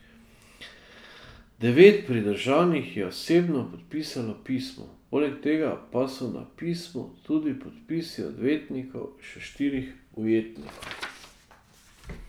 Devet pridržanih je osebno podpisalo pismo, poleg tega pa so na pismu tudi podpisi odvetnikov še štirih ujetnikov.